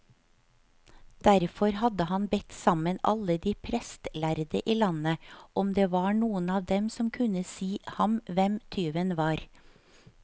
Derfor hadde han bedt sammen alle de prestlærde i landet, om det var noen av dem som kunne si ham hvem tyven var.